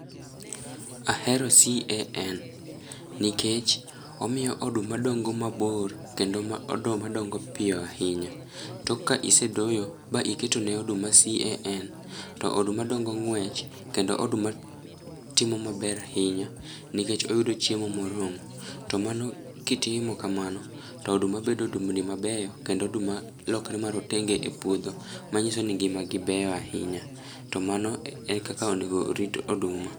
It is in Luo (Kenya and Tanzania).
Ahero CAN nikech omiyo oduma dongo mabor kendo ma oduma dongo piyo ahinya. Tok ka isedoyo, ba iketone oduma CAN, to oduma dongo ng'wech kendo oduma timo maber ahinya nikech oyudo chiemo moromo to mano kitimo kamano to oduma bedo odumbni mabeyo kendo oduma lokre marotenge e puodho manyiso ni ngimagi beyo ahinya to mano e kaka onego rit oduma.